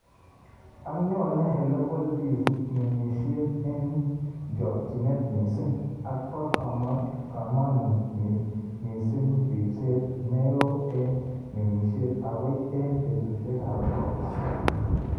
Ak nyoonei Helopeltis ng'emisyet eng' chokyinet miising', ak ba kamanut miising' riipseet ne oo eng' ng'emisyet, agoi eng' peetuusyegap ropta.